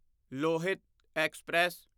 Lohit express